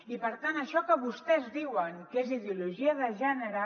i per tant això que vostès diuen que és ideologia de gènere